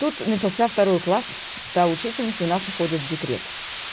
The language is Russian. тут начался второй класс та учительница у нас уходит в декрет